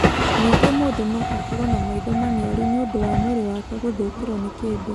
Ningĩ mũndũ no akorũo na maitho maniaru nĩ ũndũ wa mwĩrĩ wake gũthũkĩrwo nĩ kĩndũ.